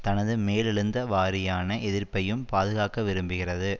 தனது மேலெழுந்தவாரியான எதிர்ப்பையும் பாதுகாக்கவிரும்புகிறது